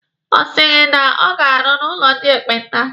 Ọ sị na ọ na-arụ n'ụlọ ndị ekpenta?